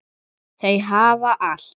Þau hafa allt.